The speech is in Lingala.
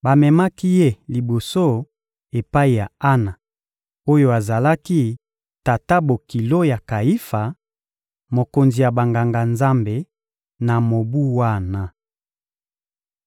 bamemaki Ye liboso epai ya Ana oyo azalaki tata-bokilo ya Kayifa, mokonzi ya Banganga-Nzambe, na mobu wana.